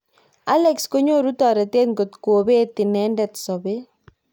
Allex konyoru toretet ngitkobet inendet sabet.